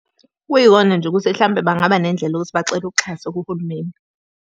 Kuyikona nje ukuthi hlampe bangaba nendlela yokuthi bacela uxhaso kuhulumeni.